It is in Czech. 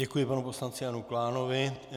Děkuji panu poslanci Janu Klánovi.